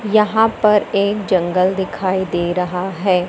यहां पर एक जंगल दिखाई दे रहा है।